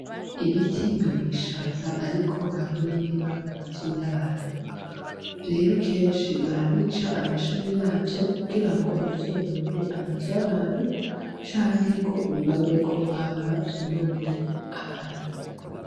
Ibiti bibo mwishamba, ariko hariho ni biba mu mazu y'abantu rero kenshi barabica amashami yavyo kugira ngo ni vyonone amazu y' abantu canke ngo bibagweko hama vyo none abantu.